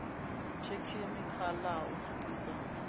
thekhinikhala ha u pfukhisa nd